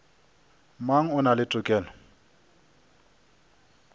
mang o na le tokelo